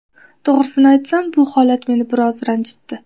To‘g‘risini aytsam, bu holat meni biroz ranjitdi.